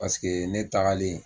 Paseke ne tagalen